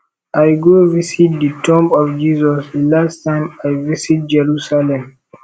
i go visit the tomb of jesus the last time i visit jerusalem